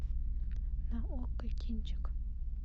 на окко кинчик